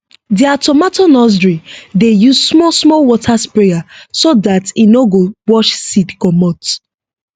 their tomato nursery dey use smallsmall water sprayer so dat e no go wash seed komot